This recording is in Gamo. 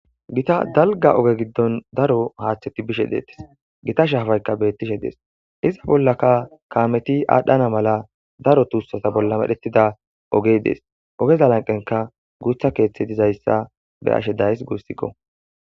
Githa dalgga oge giddon daro haaththethi bishe deeththes; githa shaafaykka beeththishe de7ees; iza bollaka kaamethi aadhdhana mala daro thuussatha bolla ereththida ogee des; ogeeza lanqqenkka guuththa keeththi dizayssa be7ashe de7ays guusikoo.